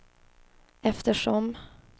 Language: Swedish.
eftersom